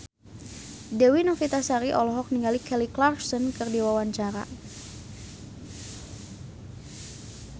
Dewi Novitasari olohok ningali Kelly Clarkson keur diwawancara